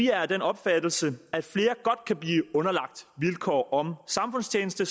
er af den opfattelse at flere godt kan blive underlagt vilkår om samfundstjeneste